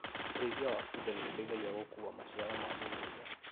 ũrĩithia wa bunda nĩũteithagia gũkua maciaro ma mũgũnda